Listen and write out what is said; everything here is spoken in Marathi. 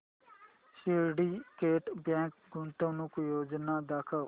सिंडीकेट बँक गुंतवणूक योजना दाखव